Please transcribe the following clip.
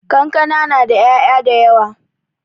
Kankana na da 'ya'ya dayawa.